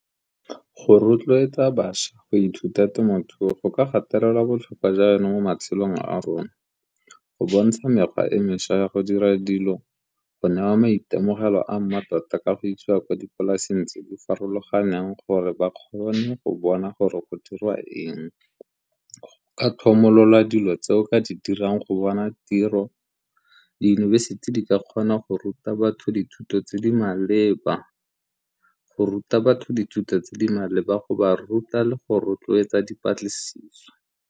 Go rotloetsa bašwa go ithuta temothuo go ka gatelela botlhokwa jwa yone mo matshelong a rona, go bontsha mekgwa e mešwa ya go dira dilo go newa maitemogelo a mmatota ka go isiwa ko dipolaseng tse di farologaneng gore ba kgone go bona gore go dirwa eng, ka tlhomolola dilo tse o ka di dirang go bona tiro, diyunibesithi di ka kgona go ruta batho dithuto tse di maleba, go ruta batho dithuto tse di maleba, go ba ruta le go rotloetsa dipatlisiso.